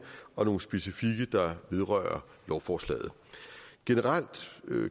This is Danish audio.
og nogle specifikke der vedrører lovforslaget generelt